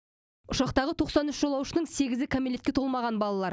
ұшақтағы тоқсан үш жолаушының сегізі кәмелетке толмаған балалар